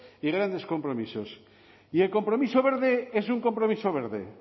y grandes compromisos y el compromiso verde es un compromiso verde